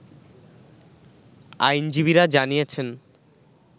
আইনজীবীরা জানিয়েছেন